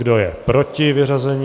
Kdo je proti vyřazení?